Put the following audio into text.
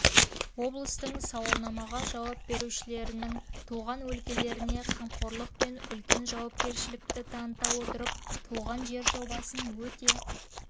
облыстың сауалнамаға жауап берушілерінің туған өлкелеріне қамқорлық пен үлкен жауапкершілікті таныта отырып туған жер жобасын өте